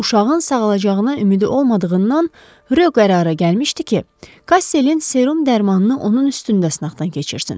Uşağın sağalacağına ümidi olmadığından Rö qərara gəlmişdi ki, Kastelin serum dərmanını onun üstündə sınaqdan keçirsin.